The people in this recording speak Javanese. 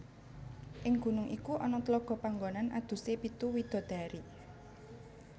Ing gunung iku ana tlaga panggonan adusé pitu widadari